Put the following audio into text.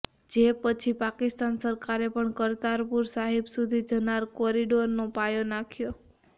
જે પછી પાકિસ્તાન સરકારે પણ કરતારપુર સાહિબ સુધી જનારા કોરિડોરનો પાયો નાખ્યો